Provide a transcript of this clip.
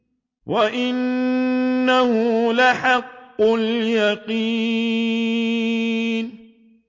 وَإِنَّهُ لَحَقُّ الْيَقِينِ